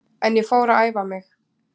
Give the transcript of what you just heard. En ég fór að æfa mig.